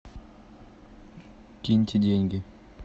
киньте деньги